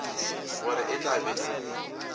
gore e tla be e